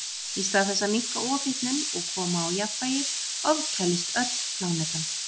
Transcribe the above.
Í stað þess að minnka ofhitnun og koma á jafnvægi ofkælist öll plánetan.